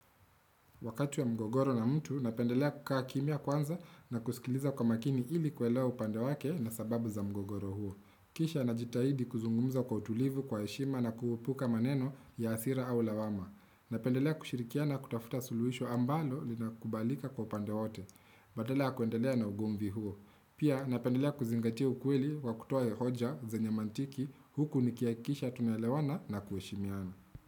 Wakati ya mgogoro na mtu, napendelea kukaa kimia kwanza na kusikiliza kwa makini ili kwelea upande wake na sababu za mgogoro huo. Kisha na jitahidi kuzungumza kwa utulivu kwa heshima na kuepuka maneno ya asira au lawama. Napendelea kushirikia na kutafuta suluwisho ambalo lina kubalika kwa upande wote. Badalaa ya kuendelea na ugumvi huo. Pia napendelea kuzingatia ukweli wa kutoa hoja zenye nyamantiki huku nikia kisha tunelewana na kueshimiana.